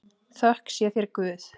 Þökk sé þér Guð.